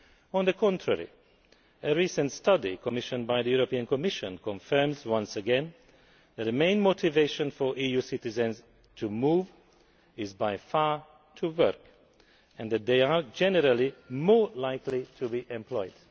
On the contrary, a recent study commissioned by the European Commission confirms once again that the main motivation by far for EU citizens to move is to work, and that they are generally more likely to be employed.